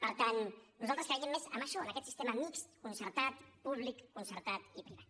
per tant nosaltres creiem més en això en aquest sistema mixt concertat públic concertat i privat